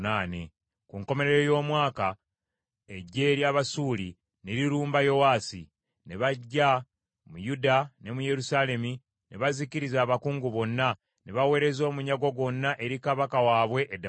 Ku nkomerero ey’omwaka, eggye ery’Abasuuli ne lirumba Yowaasi. Ne bajja mu Yuda ne mu Yerusaalemi ne bazikiriza abakungu bonna, ne baweereza omunyago gwonna eri kabaka waabwe e Ddamasiko.